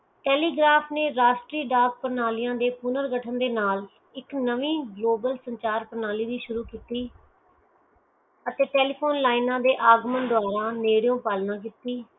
telegraph ਨੇ ਰਾਸ਼ਹਤ੍ਰਿਯ ਡਾਕ ਪ੍ਰਣਾਲੀਆਂ ਦੇ ਪੁਨਰ ਗ੍ਰਥੰ ਦੇ ਨਾਲ ਇਕ ਨਵੀ ਗਲੋਬਲ ਸੰਚਾਲ ਪ੍ਣਾਲੀ ਦੀ ਸ਼ੁਰੂ ਕੀਤੀ ਅਤੇ telephone lines ਨਹਿਰੂ ਅਗਮਾ ਲਈ ਪਾਲਣਾ ਕੀਤੀ